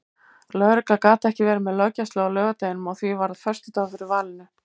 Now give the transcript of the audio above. Lögregla gat ekki verið með löggæslu á laugardeginum og því varð föstudagur fyrir valinu.